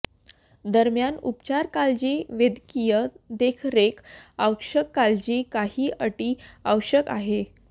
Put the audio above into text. दरम्यान उपचार काळजी वैद्यकीय देखरेख आवश्यक काळजी काही अटी आवश्यक आहे